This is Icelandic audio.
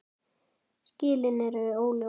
Skilin eru óljós.